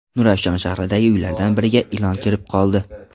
Nurafshon shahridagi uylardan biriga ilon kirib qoldi .